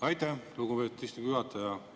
Aitäh, lugupeetud istungi juhataja!